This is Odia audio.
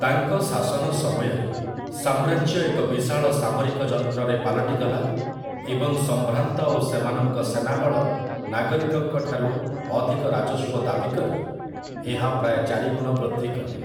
ତାଙ୍କ ଶାସନ ସମୟରେ, ସାମ୍ରାଜ୍ୟ ଏକ ବିଶାଳ ସାମରିକ ଯନ୍ତ୍ରରେ ପାଲଟିଗଲା, ଏବଂ ସମ୍ଭ୍ରାନ୍ତ ଓ ସେମାନଙ୍କ ସେନାବଳ ନାଗରିକଙ୍କଠାରୁ ଅଧିକ ରାଜସ୍ୱ ଦାବି କରି ଏହା ପ୍ରାୟ ଚାରି ଗୁଣ ବୃଦ୍ଧି କଲେ।